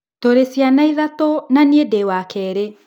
Tũrĩ ciana ithatũ, na niĩ ndĩ wa kerĩ.